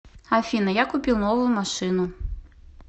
афина я купил новую машину